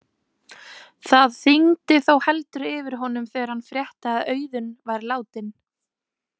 Það þyngdi þó heldur yfir honum þegar hann frétti að Auðunn væri látinn.